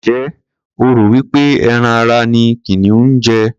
Ǹjẹ́ o rò wí pé ẹran ara ni kìnìún ń jẹ?